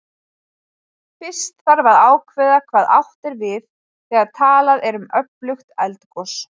Fyrst þarf að ákveða hvað átt er við þegar talað er um öflugt eldgos.